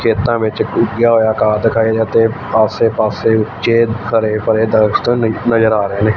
ਖੇਤਾਂ ਵਿੱਚ ਉੱਗਿਆ ਹੋਇਆ ਘਾਹ ਦਿਖਾਏ ਤੇ ਆਸੇ ਪਾਸੇ ਉੱਚੇ ਹਰੇ ਭਰੇ ਦਰਖਤ ਨਜ਼ਰ ਆ ਰਹੇ ਨੇ।